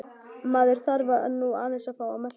Maður þarf nú aðeins að fá að melta þetta.